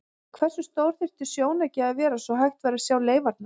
En hversu stór þyrfti sjónauki að vera svo hægt væri að sjá leifarnar?